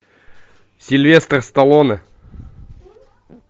сильвестр сталлоне